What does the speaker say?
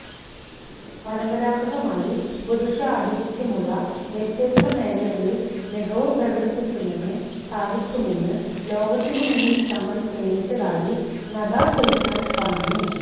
പരമ്പരാഗതമായി പുരുഷ ആധിപത്യമുള്ള വ്യത്യസ്ത മേഖലകളിൽ മികവ് പ്രകടിക്കുന്നതിന് സാധിക്കുമെന്ന് ലോകത്തിനു മുന്നിൽ തങ്ങൾ തെളിയിച്ചതായി നദ സുൽത്താൻ പറഞ്ഞു